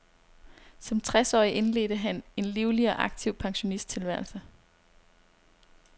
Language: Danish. Som tres årig indledte han en livlig og aktiv pensionisttilværelse.